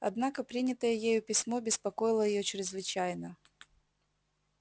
однако принятое ею письмо беспокоило её чрезвычайно